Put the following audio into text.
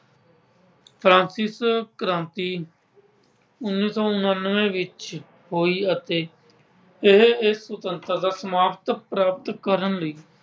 Francis ਕ੍ਰਾਂਤੀ ਉੱਨ੍ਹੀ ਸੌ ਉੱਨਾਨਵੇਂ ਵਿੱਚ ਹੋਈ ਅਤੇ ਇਹ ਇੱਕ ਸੁਤੰਤਰਤਾ ਸਮਾਨਤਾ ਪ੍ਰਾਪਤ ਕਰਨ ਲਈ